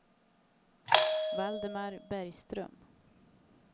Valdemar Bergström